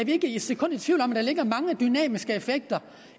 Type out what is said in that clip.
ikke et sekund i tvivl om at der ligger mange dynamiske effekter